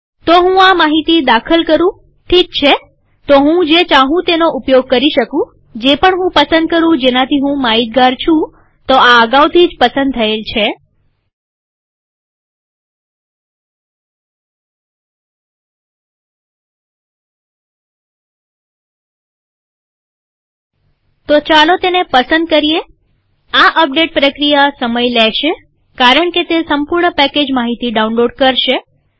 તો હું આ માહિતી દાખલ કરુંઠીક છેતો હું જે ચાહું તેનો ઉપયોગ કરી શકુંજે પણ હું પસંદ કરું જેનાથી હું માહિતગાર છુંતો આ અગાઉથી જ પસંદ થયેલ છે તો ચાલો તેને પસંદ કરીએઆ અપડેટ પ્રક્રિયા સમય લેશે કારણકે તે સંપૂર્ણ પેકેજ માહિતી ડાઉનલોડ કરશે